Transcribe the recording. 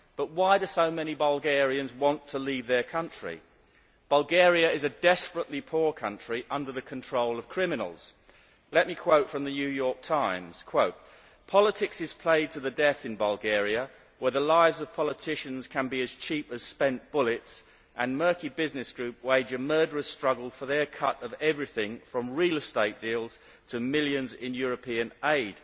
But why do so many Bulgarians want to leave their country? Bulgaria is a desperately poor country under the control of criminals. Let me quote from the New York Times Politics is played to the death in Bulgaria, where the lives of politicians can be as cheap as spent bullets and murky business groups wage a murderous struggle for their cut of everything from real estate deals to millions in European aid'.